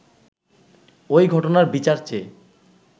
ওই ঘটনার বিচার চেয়ে